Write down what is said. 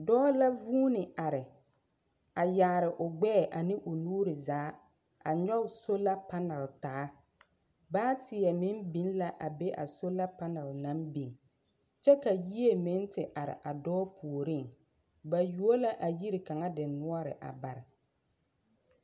Dɔɔ la vũũni are a yaare o gbɛɛ ane o nuuri zaa a nyɔge sola panal taa. Baateɛ meŋ biŋ la abe a sola panɛl naŋ biŋ. Kyɛ ka yie meŋ te are a dɔɔ puoriŋ. Ba you la yiri kaŋa denoɔre a bare.